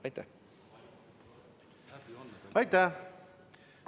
Aitäh!